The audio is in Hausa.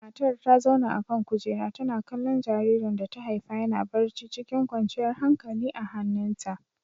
Matar ta zauna a kan kujera, tana kallon jaririn da ta haifa yana barci cikin kwanciyar hankalia a hannunta.